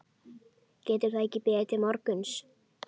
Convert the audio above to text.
Getur það ekki beðið til morguns?